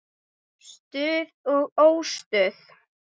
Stuð og óstuð.